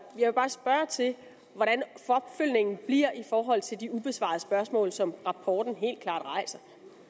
vil bare spørge til hvordan opfølgningen bliver i forhold til de ubesvarede spørgsmål som rapporten helt klart rejser